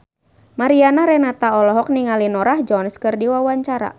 Mariana Renata olohok ningali Norah Jones keur diwawancara